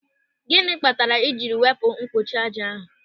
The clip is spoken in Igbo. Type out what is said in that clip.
Gịnị kpatara i jiri wepụ mgbochi ájá ahụ?